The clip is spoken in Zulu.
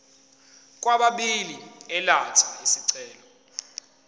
kwababili elatha isicelo